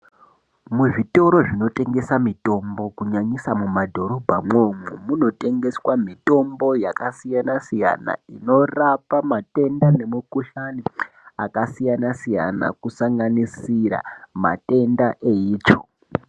Muzvitoro zvinotengese mitombo kunyanyisa mumadhorobha mwoumwo munotengeswa mitombo yakasiyana siyana inorapa matenda nemukuhlani akasiyana siyana kusanganisira matenda eitsvo.